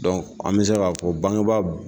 an bɛ se k'a fɔ bangebaa